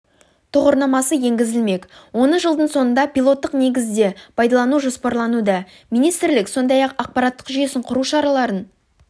тұғырнамасы енгізілмек оны жылдың соңында пилоттық негізде пайдалану жоспарлануда министрлік сондай-ақ ақпараттық жүйесін құру шараларын